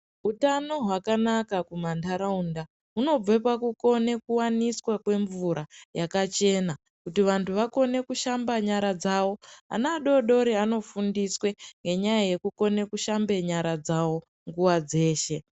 Utano hwakanaka kumantaraunda hunobve pakukone kuwaniswa kwemvura yakachena kuti vantu vakone kushamba nyara dzawo. Ana adodori anofundiswe ngenyaya yekukone kushambe nyara dzawo nguwa dzeshe.